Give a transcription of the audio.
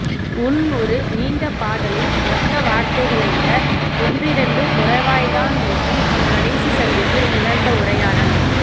உன் ஒரு நீண்ட பாடலின் மொத்த வார்த்தைகளை விட ஒன்றிரண்டு குறைவாய்த்தானிருக்கும் நம் கடைசி சந்திப்பில் நிகழ்ந்த உரையாடல்